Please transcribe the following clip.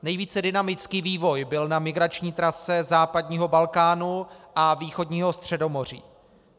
Nejvíce dynamický vývoj byl na migrační trase západního Balkánu a východního Středomoří.